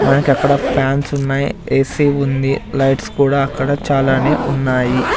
మనకి అక్కడ ఫాన్స్ ఉన్నాయి ఏసీ ఉంది లైట్స్ కూడా అక్కడ చాలానే ఉన్నాయి.